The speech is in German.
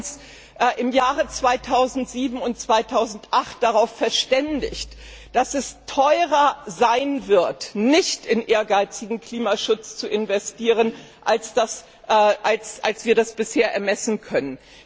Wir haben uns in den Jahren 2007 und 2008 darauf verständigt, dass es teurer sein wird, nicht in ehrgeizigen Klimaschutz zu investieren, als wir das bisher ermessen können.